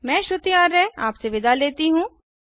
मैं श्रुति आर्य आपसे विदा लेती हूँ